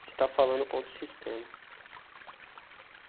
Você está falando contra o sistema.